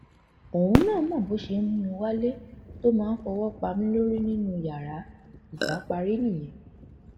òun náà mọ bó ṣe ń mú mi wálé tó máa fọwọ pa mí lórí nínú yàrá ìjà parí nìyẹn